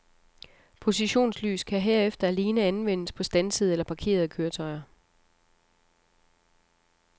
Positionslys kan herefter alene anvendes på standsede eller parkerede køretøjer.